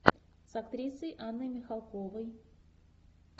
с актрисой анной михалковой